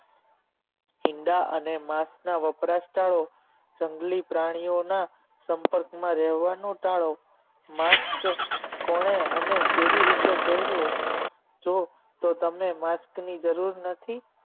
ઈંડા અને માસના વપરાશ ટાળો જંગલી પ્રાણીઓના સંપર્કમાં રહેવાનો ટાળો mask કોણે અને કેવી રીતે પહેરવુ જો તો તમને mask ની જરૂર નથી